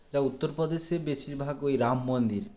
তা উত্তর প্রদেশে বেশির ভাগ ঐ রাম মন্দির